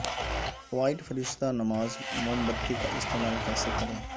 white فرشتہ نماز موم بتی کا استعمال کیسے کریں